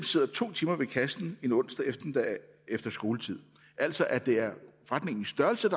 sidder to timer ved kassen en onsdag eftermiddag efter skoletid altså at det er forretningens størrelse